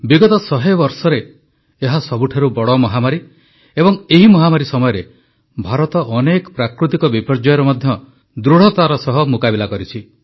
ବିଗତ ଶହେ ବର୍ଷରେ ଏହା ସବୁଠାରୁ ବଡ଼ ମହାମାରୀ ଏବଂ ଏହି ମହାମାରୀ ସମୟରେ ଭାରତ ଅନେକ ପ୍ରାକୃତିକ ବିପର୍ଯ୍ୟୟର ମଧ୍ୟ ଦୃଢ଼ତାର ସହ ମୁକାବିଲା କରିଛି